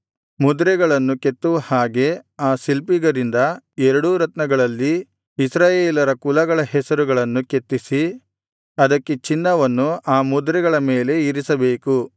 ಮುದ್ರೆಗಳನ್ನು ಕೆತ್ತುವ ಹಾಗೆ ಆ ಶಿಲ್ಪಿಗರಿಂದ ಎರಡೂ ರತ್ನಗಳಲ್ಲಿ ಇಸ್ರಾಯೇಲರ ಕುಲಗಳ ಹೆಸರುಗಳನ್ನು ಕೆತ್ತಿಸಿ ಅದಕ್ಕೆ ಚಿನ್ನವನ್ನು ಆ ಮುದ್ರೆಗಳ ಮೇಲೆ ಇರಿಸಬೇಕು